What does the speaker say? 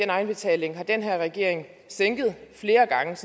egenbetaling har den her regering sænket flere gange